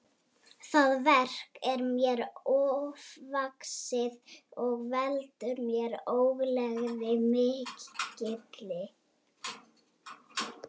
Það verk er mér ofvaxið og veldur mér ógleði mikilli.